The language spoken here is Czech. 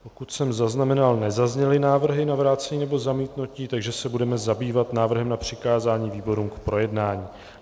Pokud jsem zaznamenal, nezazněly návrhy na vrácení nebo zamítnutí, takže se budeme zabývat návrhem na přikázání výborům k projednání.